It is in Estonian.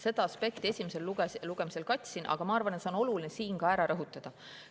Seda aspekti ma esimesel lugemisel katsin, aga ma arvan, et on oluline see ka nüüd ära rõhutada.